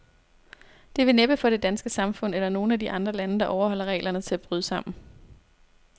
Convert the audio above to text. Det vil næppe få det danske samfund, eller nogen af de andre lande, der overholder reglerne, til at bryde sammen.